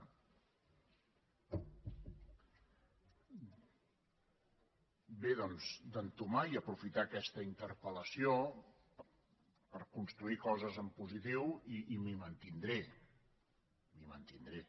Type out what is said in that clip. bé doncs d’entomar i aprofitar aquesta interpel·lació per construir coses en positiu i m’hi mantindré m’hi mantindré